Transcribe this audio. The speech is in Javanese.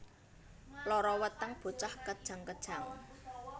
Lara weteng bocah kejang kejang